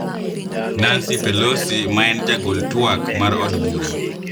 Nancy Pelosi ma en jagol twak mar Od Bura,